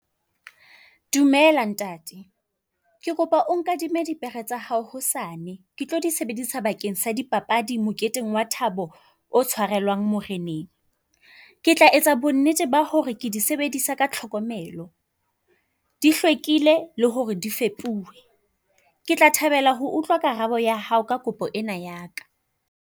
Dumela ntate. Ke kopa o nkadime dipere tsa hao hosane. Ke tlo di sebedisa bakeng sa di papadi moketeng wa thabo o tshwarelwang moreneng. Ke tla etsa bonnete ba hore ke di sebedisa ka tlhokomelo di hlwekile le hore di fepuwe. Ke tla thabela ho utlwa karabo ya hao ka kopo ena ya ka.